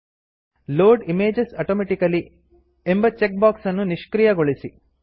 load images automatically load image automatically ಎಂಬ check box ಅನ್ನು ನಿಶ್ಕ್ರಿಯಗೊಳಿಸಿ